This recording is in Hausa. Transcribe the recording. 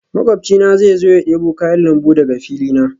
Makwabcina zai zo ya debo kayan lambu daga fili na